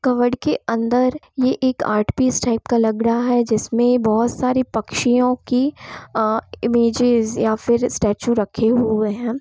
Covered के अंदर ये एक आर्ट पीस टाइप का लग रहा है जिसमे बहुत सारे पक्षियों की अ इमेजेज या फिर स्टैचू रखे हुए हैं ।